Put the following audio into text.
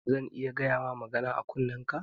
Zan iya gayama magana a kunnenka?